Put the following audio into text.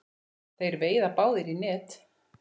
Þeir veiða báðir í net.